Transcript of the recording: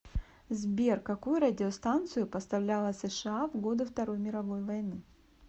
сбер какую радиостанцию поставляла сша в годы второй мировой войны